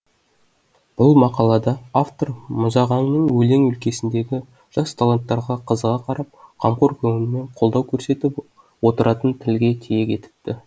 бұл мақалада автор мұзағаңның өлең өлкесіндегі жас таланттарға қызыға қарап қамқор көңілмен қолдау көрсетіп отыратынын тілге тиек етіпті